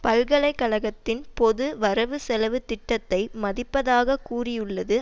பல்கலை கழகத்தின் பொது வரவுசெலவு திட்டத்தை மதிப்பதாக கூறியுள்ளது